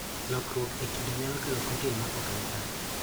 Lokruok e kido nyalo kelo proten ma ok ni kare